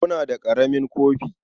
Muna da ƙaramin kofi.